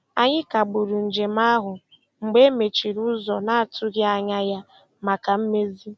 Anyị kagburu njem ahụ mgbe e mechiri ụzọ na-atụghị anya ya maka mmezi.